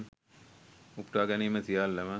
උපුටාගැනීම් සියල්ලම